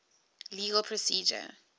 legal procedure